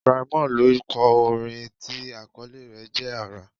Brymo ló kọ orin tí àkọlé rẹ̀ jẹ́: Àrà